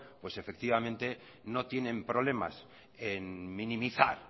no tienen problemas en minimizar